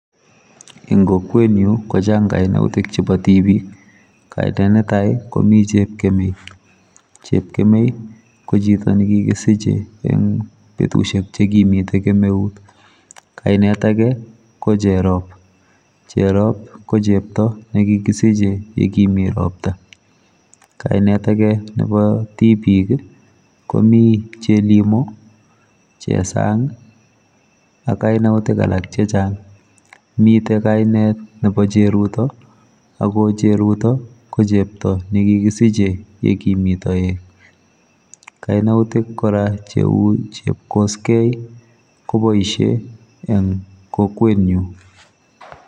Eng kokwetnyu kochang kainautikab tibik kainet netai komi chepkemei. Chepkemei kochito nekikisiche eng betusiek chekimite kemeut. Kinat ake ko cherop cheropko chepto nekikisiche yekimi ropta kainet ake nebo tibik komi chelimo chesang ak kainautik alak chechang mite kainet nebo cheruto akocheruto kikisiche yekimi toek kainautik kora cheu chepkosgei koboisie eng kokwetnyu.